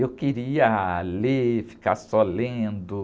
Eu queria ler, ficar só lendo.